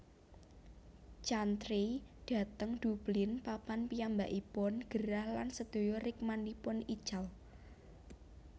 Chantrey dhateng Dublin papan piyambakipun gerah lan sedaya rikmanipun ical